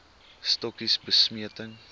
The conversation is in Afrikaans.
stokkies bemesting